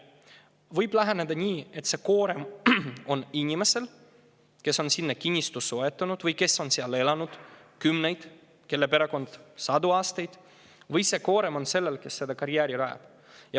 Võib läheneda nii, et see koorem lasub inimesel, kes on sinna kinnistu soetanud või kelle perekond on seal elanud kümneid, isegi sadu aastaid, või lasub see koorem sellel, kes selle karjääri rajab.